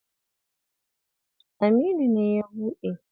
Aminu ne ya buɗe.